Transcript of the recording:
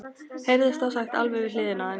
heyrðist þá sagt alveg við hliðina á þeim.